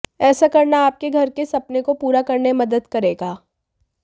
ऐसा करना आपके घर के सपने को पूरा करने में मदद करेगा